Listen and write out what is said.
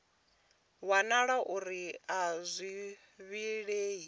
wanala uri a zwi vhilei